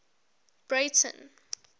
breyten